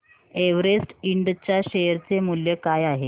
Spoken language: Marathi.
एव्हरेस्ट इंड च्या शेअर चे मूल्य काय आहे